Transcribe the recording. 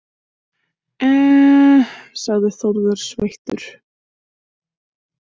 Eeeee, sagði Þórður sveittur.